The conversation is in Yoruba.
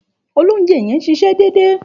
Òlòunjé yen n sísé dédé